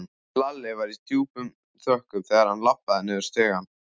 Lalli var í djúpum þönkum þegar hann labbaði niður stigann.